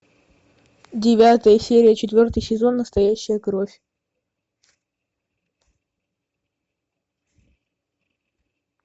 девятая серия четвертый сезон настоящая кровь